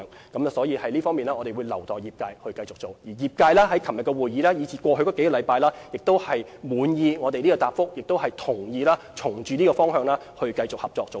因此，就着這方面，我們會留待業界繼續處理，而業界在昨天的會議和過去數星期的溝通，也表示滿意我們的答覆，並會循着這個方向繼續合作。